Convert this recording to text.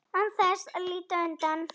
Án þess að líta undan.